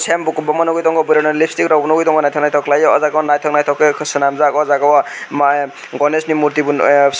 oro bukuk bongo nugui tongo bwrui rok ni lipstick bo nugui tongo nythok khalai e aw jaaga o nythok nythok ke swnamjak aw jaaga o gones ni murti no ehhh.